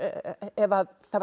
ef það var